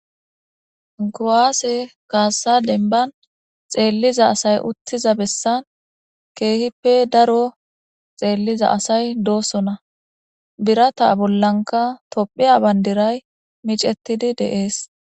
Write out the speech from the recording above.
Kuwase Kase dennibanni xeelliza asayi uttiza bessanni kehippe daro xeelliza asayi dosona.birata bollanikla tophphiya banidirayi miccetidi de'ees.